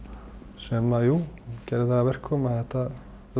sem að jú gerði það að verkum að þetta